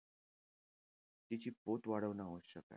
तिची पोत वाढवणं आवश्यक आहे.